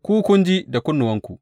Ku kun ji da kunnuwanku!